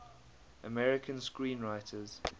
american screenwriters